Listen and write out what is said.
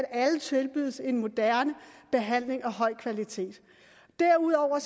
at alle tilbydes en moderne behandling af høj kvalitet derudover